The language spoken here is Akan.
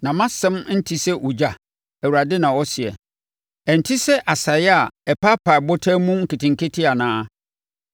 “Na mʼasɛm nte sɛ ogya?” Awurade na ɔseɛ, “Ɛnte sɛ asaeɛ a ɛpaapae ɔbotan mu nketenkete anaa?